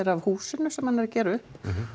af húsinu sem hann er að gera upp